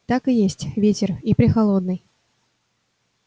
так и есть ветер и прехолодный